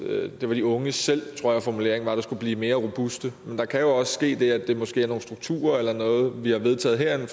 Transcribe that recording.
var de unge selv tror jeg formuleringen var der skulle blive mere robuste men der kan jo også ske det at det måske er nogle strukturer eller noget vi har vedtaget herinde